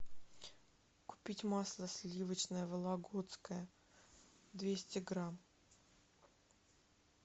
купить масло сливочное вологодское двести грамм